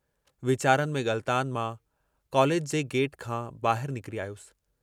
वीचारनि में ग़ल्तानु मां कॉलेज जे गेट खां बाहिर निकिरी आयुस।